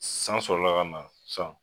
San sɔrɔla ka na sisan